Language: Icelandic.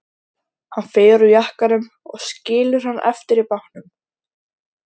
Hann fer úr jakkanum og skilur hann eftir í bátnum.